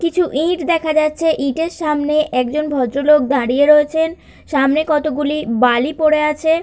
কিছু ইট দেখা যাচ্ছে ইটের সামনে একজন ভদ্রলোক দাঁড়িয়ে রয়েছেন সামনে কতগুলি বালি পড়ে আছে।